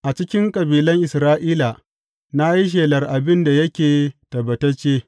A cikin kabilan Isra’ila na yi shelar abin da yake tabbatacce.